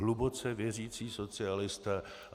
Hluboce věřící socialisté.